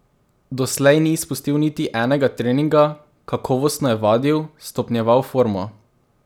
Doslej ni izpustil niti enega treninga, kakovostno je vadil, stopnjeval formo.